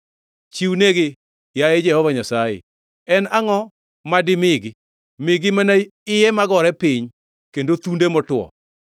Chiwnegi, yaye Jehova Nyasaye, en angʼo ma dimigi? Migi mana iye magore piny kendo thunde motwo.